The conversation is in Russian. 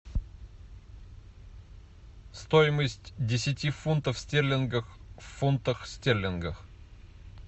стоимость десяти фунтов стерлингов в фунтах стерлингах